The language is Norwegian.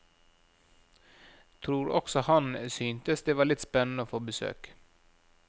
Tror også han syntes det var litt spennende å få besøk.